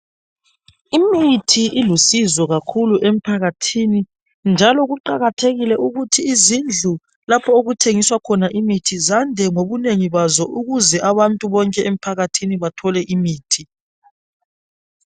imithi ilusizo kakhulu emphakathini njalo kuqakathekile ukuthi izindlu lapho okuthengiswa khona imithi zande ngobunengi bazo ukuze abantu bone emphakathi bahole imithi